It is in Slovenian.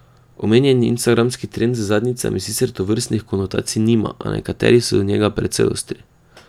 Omenjeni instagramski trend z zadnjicami sicer tovrstnih konotacij nima, a nekateri so do njega precej ostri.